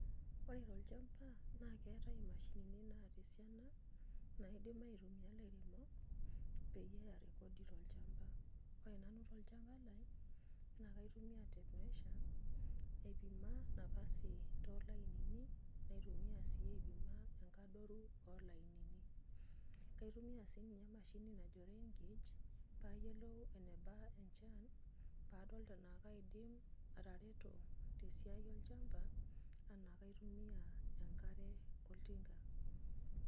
Ore tolchamba na keetae mashinini naata esiana naidim aitumia lairemok peyie eremisho tolchamba, ore nanu tolchamba lai na kaitumia tape measure aipima nafasi nitumia sii aitodolu enkadoro olainini ,kaitumia sinye emashini najo raingauge payiolou enebaa enchan padol anaa kaidim atareto tesiai olchamba anaa kaitumia enkare oltinga.